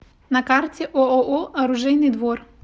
на карте ооо оружейный двор